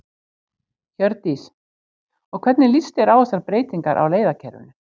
Hjördís: Og hvernig líst þér á þessar breytingar á leiðakerfinu?